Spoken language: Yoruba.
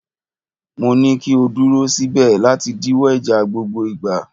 Mo ní kí o dúró síbẹ̀ láti díwọ́ ìjà gbogbo ìgbà.!